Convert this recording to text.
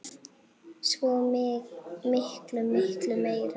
Svo miklu, miklu meira.